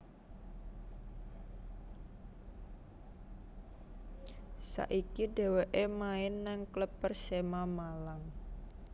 Saiki dheweke main nang klub Persema Malang